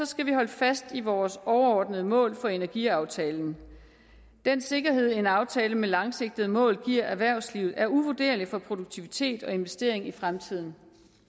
skal vi holde fast i vores overordnede mål for energiaftalen den sikkerhed en aftale med langsigtede mål giver erhvervslivet er uvurderlig for produktivitet og investering i fremtiden